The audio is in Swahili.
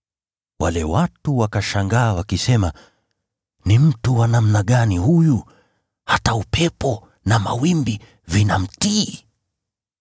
Wale watu wakashangaa, wakisema, “Ni mtu wa namna gani huyu? Hata upepo na mawimbi vinamtii!”